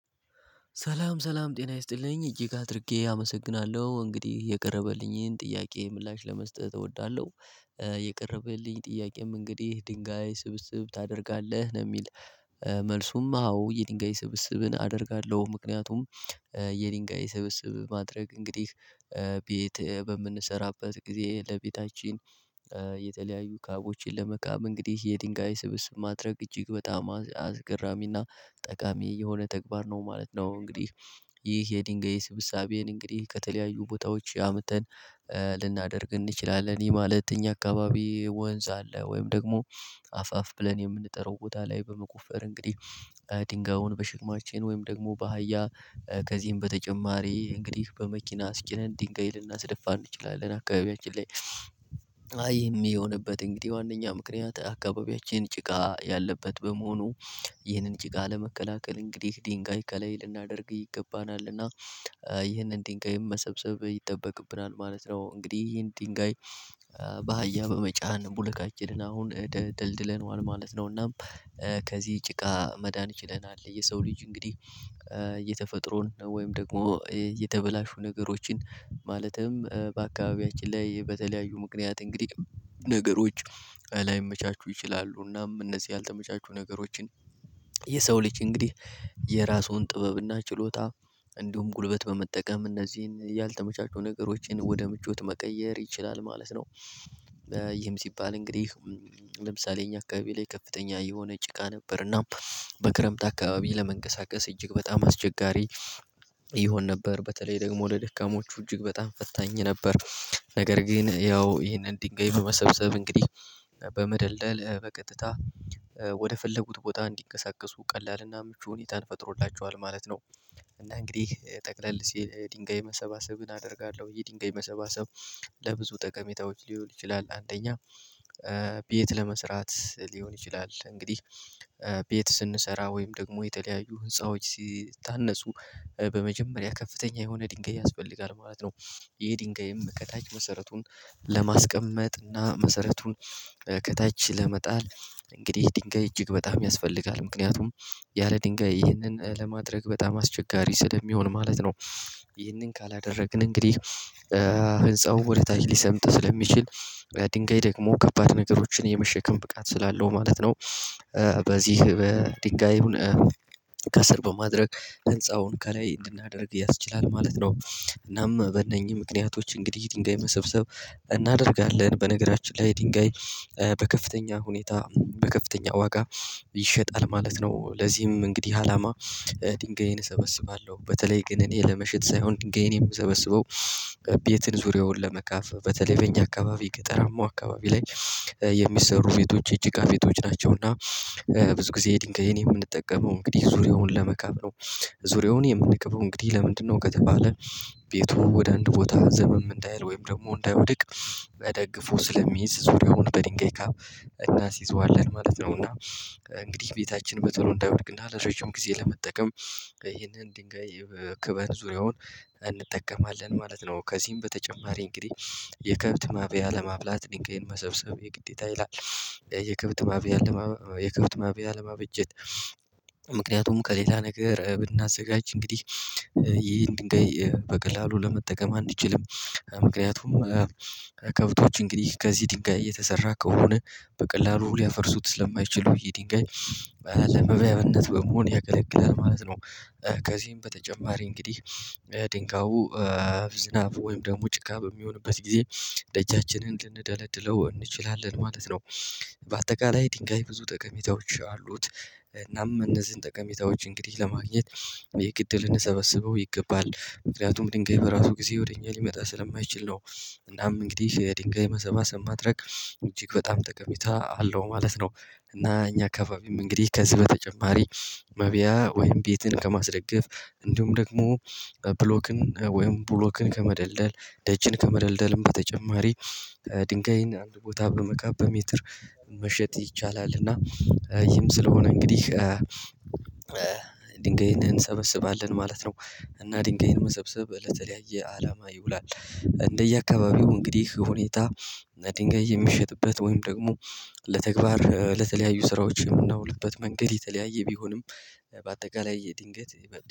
ሰላም ሰላም ጤና ይስጥልኝ እጅግ አድርጌ አመሰግናለው እንግዲህ የቀረበልኝን ጥያቄ ምላሽ ለመስጠት እወዳለው። የቀረበልኝ ጥያቄም እንግዲህ ድንጋይ ስብስብ ታደርጋለህ ነው የሚል? መልሱም አዎ የድንጋይ ስብስብን አደርጋለው። ምክንያቱም የድንጋይ ስብስብ ማድረግ እንግዲህ ቤት በምንሰራበት ጊዜ ለቤታችን። የተለያዩ ካቦችን ለመካብ እንግዲህ የድንጋይ ስብስብ ማድረግ እጅግ በጣም አስገራሚና ጠቃሚ የሆነ ተግባር ነው ማለት ነው። እንግዲህ ይህ የድንጋይ ስብሳቤን እንግዲህ ከተለያዩ ቦታዎች አምተን ልናደርግ እንችላለን። ይህ ማለት እኛ አካባቢ ወንዝ አለ ወይም ደግሞ አፋፍ ብለን የምንጠራው ቦታ ላይ በመቆፈር እንግዲህ ድንጋዩን በሽክማችን ወይም ደግሞ ባህያ ከዚህም በተጨማሪ እንግዲህ በመኪና አስጭነን ዲንጋይ ልናስደፋ እንችላለን አካባቢያችን ላይ። አይ የሚሆንበት እንግዲህ ዋነኛ ምክንያት አካባቢያችን ጭቃ ያለበት በመሆኑ ይህንን ጭቃ ለመከላከል እንግዲህ ዲንጋይ ከላይ ልናደርግ ይገባናል እና ይህንን ዲንጋይ መሰብሰብ ይጠበቅብናል ማለት ነው። እንግዲህ ይህን ዱንጋይ ባህያ በመጫን ቡልካችንን አሁን ደልድለነዋል ማለት ነው። እናም ከዚህ ጭቃ መዳን ይችለናል። የሰው ልጅ እንግዲህ የተፈጥሮን ወይም ደግሞ የተበላሹ ነገሮችን ማለትም በአካባቢያችን ላይ በተለያዩ ምክንያት እንግዲህ ነገሮች ላይመቻቹ ይችላሉ እናም እነዚህ ያልተመቻቹ ነገሮችን የሰው ልጅ እንግዲህ የራሱን ጥበብና ችሎታ እንዲሁም ጉልበት በመጠቀም እነዚህን ያልተመቻቹ ነገሮችን ወደ ምቾት መቀየር ይችላል ማለት ነው። ይህም ሲባል እንግዲህ ለምሳሌ እኛ አካባቢ ላይ ከፍተኛ የሆነ ጭቃ ነበር እና በክረምት አካባቢ ለመንቀሳቀስ እጅግ በጣም አስቸጋሪ ይሆን ነበር በተለይ ደግሞ ለደካሞቹ እጅግ በጣም ፈታኝ ነበር። ነገር ግን ያው ይሄንን ዲንጋይ በመሰብሰብ እንግዲህ በመደልደል በቀጥታ ወደፈለጉት ቦታ እንዲንቀሳቀሱ ቀላልና ምቹ ሁኔታን ፈጥሮላቸዋል ማለት ነው። እና እንግዲህ ጠቅለል ሲል ዲንጋይ መሰባሰብን አደርጋለው የዲንጋይ መሰባሰብ ለብዙ ጠቀሜታዎች ሊውል ይችላል። አንደኛ ቤት ለመስራት ሊሆን ይችላል። እንግዲህ ቤት ስንሰራ ወይም ደግሞ የተለያዩ ህንፃዎች ሲታነጹ በመጀመሪያ ከፍተኛ የሆነ ዲንጋይ ያስፈልጋል ማለት ነው። ይሄ ዲንጋይም ከታች መሰረቱን ለማስቀመጥ እና መሰረቱን ከታች ለመጣል እንግዲህ ዲንጋይ እጅግ በጣም ያስፈልጋል ምክንያቱም ያለ ዲንጋይ ይህንን ለማድረግ በጣም አስቸጋሪ ስለሚሆን ማለት ነው። ይህንን ካላደረግን እንግዲህ ህንፃው ወደ ታች ሊሰምጥ ስለሚችል ዲንጋይ ደግሞ ከባድ ነገሮችን የመሸከም ብቃት ስላለው ማለት ነው። በዚህ በዲንጋዩን ከስር በማድረግ ህንፃውን ከላይ እንድናደርግ ያስችላል ማለት ነው። እናም በእነኚ ምክንያቶች እንግዲህ ዲንጋይ መሰብሰብ እናደርጋለን በነገራችን ላይ ዲንጋይ በከፍተኛ ሁኔታ በከፍተኛ ዋጋ ይሸጣል ማለት ነው። ለዚህም እንግዲህ አላማ ዲንጋይን እሰበስባለው በተለይ ግን እኔ ለመሸጥ ሳይሆን ዲንጋይን የምሰበስበው ቤትን ዙሪያውን ለመካፍ በተለይ በእኛ አካባቢ ቅጠላማው አካባቢ ላይ የሚሰሩ ቤቶች የጭቃ ቤቶች ናቸው እና ብዙ ጊዜ ዲንጋይን የምንጠቀመው እንግዲህ ዙሪያውን ለመካብ ነው። ዙሪያውን የምንክበው እንግዲህ ለምንድነው? ከተባለ ቤቱ ወደ አንድ ቦታ ዘመም እንዳይል ወይም ደግሞ እንዳይወድቅ በደግፎ ስለሚይዝ ዙሪያውን በድንጋይ ካብ እናሲዘዋለን ማለት ነው። እና እንግዲህ ቤታችን በቶሎ እንዳይወድቅ እና እረጃጅም ጊዜ ለመጠቀም ይሄንን ዲንጋይ ክበን ዙሪያውን እንጠቀማለን ማለት ነው። ከዚህም በተጨማሪ እንግዲህ የከብት ማብያ ለማብላት ዲንጋይን መሰብሰብ የግዴታ ይላል። የከብት ማብያ የከብት ማብያ ለማበጀት ምክንያቱም ከሌላ ነገር ብናዘጋጅ እንግዲህ ይህን ድንጋይ በቀላሉ ለመጠቀም አንችልም። ምክንያቱም ከብቶች እንግዲህ ከዚህ ዲንጋይ የተሰራ ከሆነ በቀላሉ ሊያፈርሱት ስለማይችሉ ይዲንጋይ ለመብያነት በመሆን ያገለግላል ማለት ነው። ከዚህም በተጨማሪ እንግዲህ ድንጋዩ ዝናብ ወይም ደግሞ ጭቃ በሚሆንበት ጊዜ ደጃችንን ልንደለድለው እንችላለን ማለት ነው። ባጠቃላይ ዲንጋይ ብዙ ጠቀሜታዎች አሉት እናም እነዚን ጠቀሜታዎች እንግዲህ ለማግኘት የግድ ልንሰበስበው ይገባል። ምክንያቱም ዲንጋይ በራሱ ጊዜ ወደ እኛ ሊመጣ ስለማይችል ነው። እናም እንግዲህ የዲንጋይ መሰባሰብ ማድረግ እጅግ በጣም ጠቀሜታ አለው ማለት ነው። እና እኛ አካባቢም እንግዲህ ከዚህ በተጨማሪ መብያ ወይም ቤትን ከማስደገፍ እንዲሁም ደግሞ ብሎክን ወይም ብሎክን ከመደልደል ደጅን ከመደልደልም በተጨማሪ ድንጋይን አንድ ቦታ በመካብ በሜትር መሸጥ ይቻላል። እና ይህም ስለሆነ እንግዲህ ድንጋይን እንሰበስባለን ማለት ነው። እና ድንጋይን መሰብሰብ ለተ ለያየ አላማ ይውላል። እንደየአካባቢው እንግዲህ ሁኔታ ድንጋይ የሚሸጥበት ወይም ደግሞ ለተግባር ለተለያዩ ስራዎች ምናውልበት መንገድ የተለያየ ቢሆንም። በአጠቃላይ ድንገት